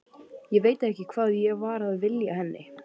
Ég veit ekki hvað ég var að vilja henni.